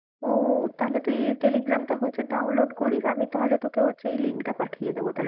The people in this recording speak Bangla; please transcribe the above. ও তাহলে তুই টেলিগ্রামটা হচ্ছে download করিস, আমি তাহলে তোকে হচ্ছে এই link টা পাঠিয়ে দেবো